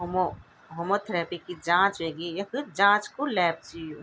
होमो होमोथेरिपी की जांच वेगी यख जांच कु लैब च यु।